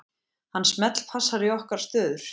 Hann smellpassar í nokkrar stöður.